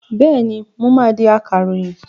Bẹ́ẹ̀ni, mo máa di akàròyìn.